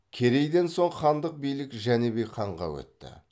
керейден соң хандық билік жәнібек ханға өтті